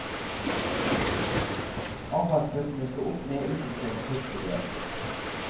Avfallsbøtene sto opp ned utenfor hyttedørene.